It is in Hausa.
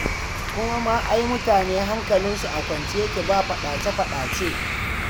Kuma ma ai mutane hankalinsu a kwance yake ba faɗace-faɗace.